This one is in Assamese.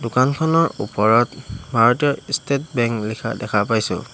দোকানখনৰ ওপৰত ভাৰতীয় ষ্টেট বেংক লিখা দেখা পাইছোঁ।